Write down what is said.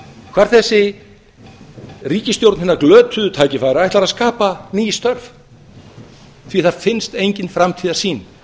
hvar þessi ríkisstjórn hinna glötuðu tækifæra ætlar að skapa ný störf því það finnst engin framtíðarsýn